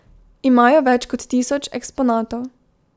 Imajo več kot tisoč eksponatov.